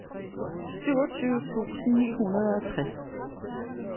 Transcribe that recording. syvogtyve tusind ni hundrede og tres